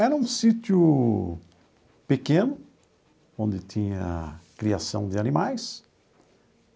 Era um sítio pequeno, onde tinha criação de animais.